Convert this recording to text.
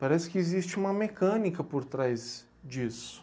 Parece que existe uma mecânica por trás disso.